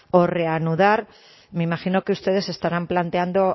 o reanudar me imagino que ustedes se estarán planteando